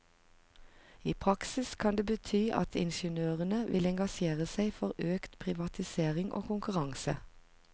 I praksis kan det bety at ingeniørene vil engasjere seg for økt privatisering og konkurranse.